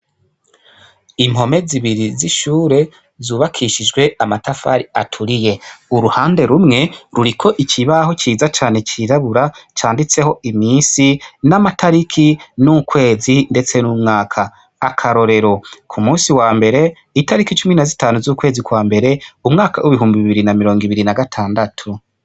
Ikigo c' isomero gifis' impome zibiri zubakishijw' amatafar' aturiye harimwo n' uturongo dukitse n' utumanuka dusiz' irangi ryera , uruhande rumwe rurik' ikibaho ciza cane cirabura canditsek' iminsi , amatariki, ukwezi ndetse n' umwaka, akarorero k'umunsi wa mber' itariki 15/01/2026.